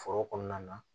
Foro kɔnɔna na